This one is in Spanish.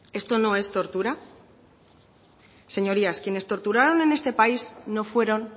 esto no es tortura señorías quienes torturaron en este país no fueron